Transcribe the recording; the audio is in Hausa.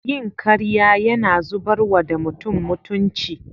Yin karya Yana zubarwa da mutum mutunci.